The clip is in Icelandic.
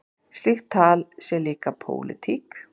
Slíkt tal sé líka pólitík.